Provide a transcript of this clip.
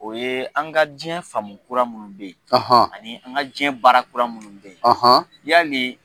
O yee an ka diɲɛ faamu kura minnu be ye, ani an ka diɲɛ baara kura minnu be ye yani